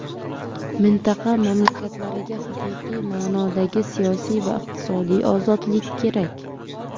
Mintaqa mamlakatlariga haqiqiy ma’nodagi siyosiy va iqtisodiy ozodlik kerak.